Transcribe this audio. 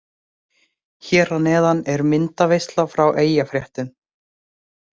Hér að neðan er myndaveisla frá Eyjafréttum.